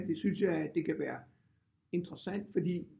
Det synes jeg at det kan være interessant fordi